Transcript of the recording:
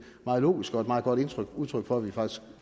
meget logisk og et meget godt udtryk for at vi faktisk